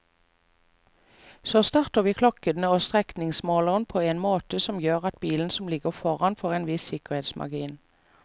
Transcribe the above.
Så starter vi klokken og strekningsmåleren på en måte som gjør at bilen som ligger foran får en viss sikkerhetsmargin.